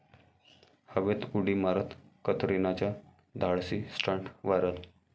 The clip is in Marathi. हवेत उडी मारत कतरिनाचा धाडसी स्टंट व्हायरल!